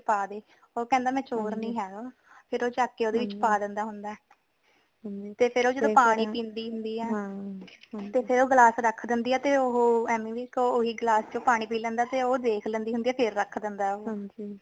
ਓ ਕਹਿੰਦਾ ਮੈ ਚੋਰ ਨੀ ਹੇਗਾ ਫੇਰ ਓ ਚੱਕ ਕੇ ਓਦੇ ਵਿਚ ਪਾ ਦੇਂਦਾ ਹੁੰਦਾ ਹੈ ਤੇ ਫੇਰ ਓ ਜੇੜਾ ਪਾਣੀ ਪਿੰਦੀ ਹੁੰਦੀ ਹੈ ਤੇ ਫੇਰ ਓ ਗਲਾਸ ਰੱਖ ਦਿੰਦੀ ਆ ਤਾ ਓਹੋ ਐਮੀ ਵਿਰਕ ਓਹੀ ਗਲਾਸ ਚ ਪਾਣੀ ਪੀ ਲੈਂਦਾ ਤੇ ਓ ਦੇਖ ਲੈਂਦੀ ਹੁੰਦੀ ਹੈ ਫੇਰ ਰੱਖ ਦੇਂਦਾ ਹੈ ਉਹ